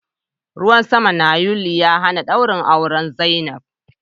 Ruwan sama na yuli ya hana dawrin auren zainab.